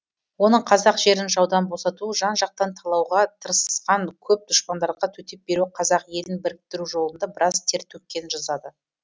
оның қазақ жерін жаудан босату жан жақтан талауға тырысқан көп дұшпандарға төтеп беруі қазақ елін біріктіру жолында біраз тер төккенін жазады